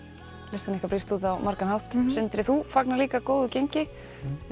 listin ykkar brýst út á margan hátt sindri þú fagnar líka góðu gengi